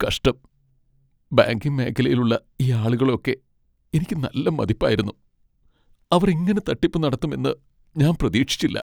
കഷ്ടം, ബാങ്കിംഗ് മേഖലയിലുള്ള ഈ ആളുകളെ ഒക്കെ എനിക്ക് നല്ല മതിപ്പായിരുന്നു, അവർ ഇങ്ങനെ തട്ടിപ്പ് നടത്തും എന്ന് ഞാൻ പ്രതീക്ഷിച്ചില്ല.